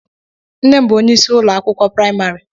Nne m bụ ónyé ịsị ụlọ akwụkwọ praịmarị.